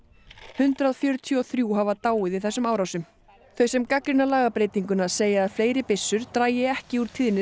hundrað fjörutíu og þrjú hafa dáið í þessum árásum þau sem gagnrýna lagabreytinguna segja að fleiri byssur dragi ekki úr tíðni